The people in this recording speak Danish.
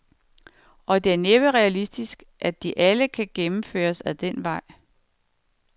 Og det er næppe realistisk, at de alle kan gennemføres ad den vej.